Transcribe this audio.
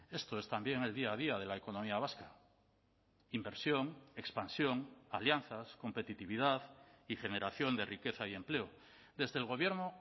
esto es también el día a día de la economía vasca inversión expansión alianzas competitividad y generación de riqueza y empleo desde el gobierno